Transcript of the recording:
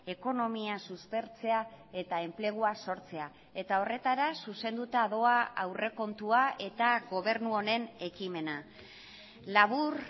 ekonomia suspertzea eta enplegua sortzea eta horretara zuzenduta doa aurrekontua eta gobernu honen ekimena labur